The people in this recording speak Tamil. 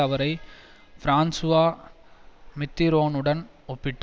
அவரை பிரான்சுவா மித்திரோனுடன் ஒப்பிட்டார்